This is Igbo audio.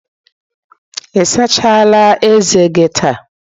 Ị asachala ezé gị taa?